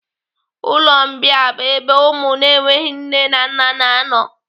Ụlọ mbìa bụ ebe ụmụ na-enweghị nne na nna na anọ.